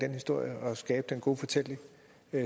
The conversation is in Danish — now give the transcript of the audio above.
historie og skabe den gode fortælling